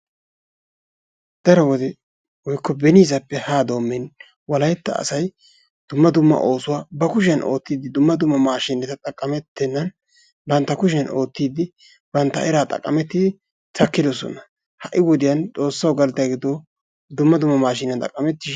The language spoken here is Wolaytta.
Daro wode woykko beniisappe haa doommin wolaytta asayi dumma dumma oosuwa ba kushiyan oottiiddi dumma dumma maashiineta xaqqamettennan bantta kushiyan oottiiddi bantta eraa xaqqamettidi takkidosona. Ha"i wodiyan xoossawu galatayi gido dumma maashiiniyan xaqqamettishin...